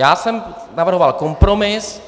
Já jsem navrhoval kompromis,